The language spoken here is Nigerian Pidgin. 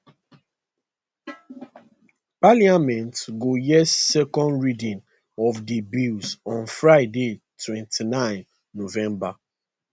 parliament go hear second reading of di bill on friday 29 november